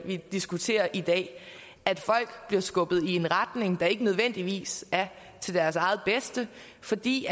vi diskuterer i dag at folk bliver skubbet i en retning der ikke nødvendigvis er til deres eget bedste fordi